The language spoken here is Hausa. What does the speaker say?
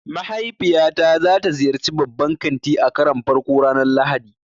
Mahaifiyata za ta ziyarci babban kanti a karon farko ranar Lahadi.